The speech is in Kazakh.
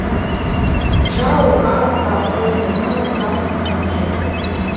жау аз ба қойнына тас тығып жүрген